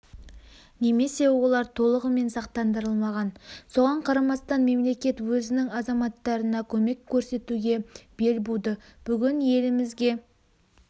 немесе олар толығымен сақтандырылмаған соған қарамастан мемлекет өзінің азаматтарына көмек көрсетуге бел буды бүгін елімізге